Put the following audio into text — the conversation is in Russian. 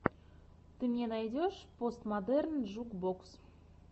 ты мне найдешь постмодерн джук бокс